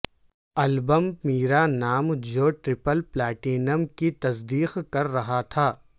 album میرا نام جو ٹرپل پلاٹینم کی تصدیق کر رہا تھا